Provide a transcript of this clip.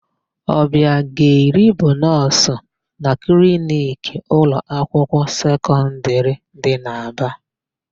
Ọbiageli bụ nọọsụ na kliniki ụlọakwụkwọ sekọndịrị dị n'Aba.